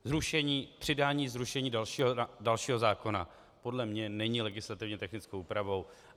Přidání zrušení dalšího zákona podle mě není legislativně technickou úpravou.